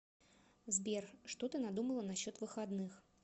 сбер что ты надумала насчет выходных